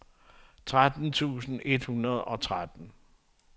tretten tusind et hundrede og tretten